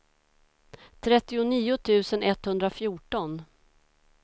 trettionio tusen etthundrafjorton